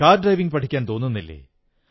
car ഡ്രൈവിംഗ്പഠിക്കാൻ തോന്നുന്നില്ലേ